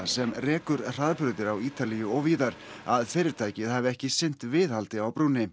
sem rekur hraðbrautir á Ítalíu og víðar að fyrirtækið hafi ekki sinnt viðhaldi á brúnni